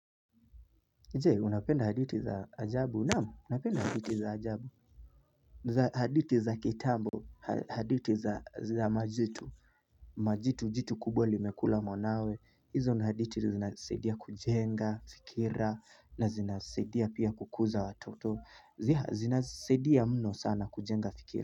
Jee, unapenda hadithi za ajabu, naam napenda haditi za ajabu hadithi za kitambo, hadithi za majitu Majitu, jitu kubwa limekula mwanawe, hizo ni hadithi zinasaidia kujenga, fikira, na zinasaidia pia kukuza watoto zinasaidia mno sana kujenga fikira.